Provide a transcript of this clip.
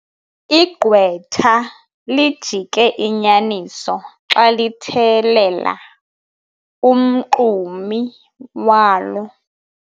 Igqwetha lijike inyaniso xa lithethelela umxumi walo.